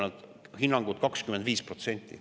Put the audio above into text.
Hinnangud on sellised, et 25%.